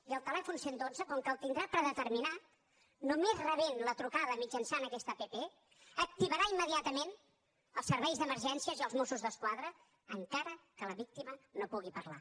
i el telèfon cent i dotze com que el tindrà predeterminat només rebent la trucada mitjançant aquesta app activarà immediatament els serveis d’emergències i els mossos d’esquadra encara que la víctima no pugui parlar